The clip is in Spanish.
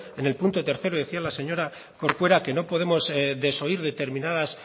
en el punto tercero decía la señora corcuera que no podemos desoír determinadas